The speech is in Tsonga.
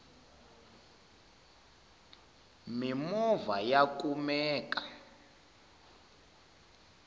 mimova ya kumeka